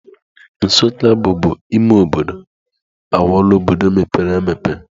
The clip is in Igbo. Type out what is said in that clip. Nsukka bubu ime obodo, aghọọla obodo mepere emepe.